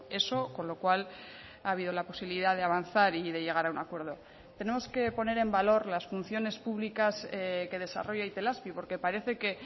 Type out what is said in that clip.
eso con lo cual ha habido la posibilidad de avanzar y de llegar a un acuerdo tenemos que poner en valor las funciones públicas que desarrolla itelazpi porque parece que